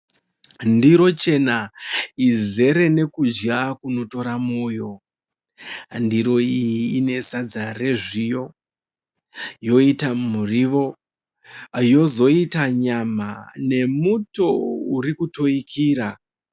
Ndiro chena izere nekudya kunotora moyo . Ndiro iyi ine sadza rezviyo yoita muriwo yozoita nyama nemuto uri kutoikira